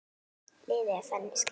Liðið er þannig skipað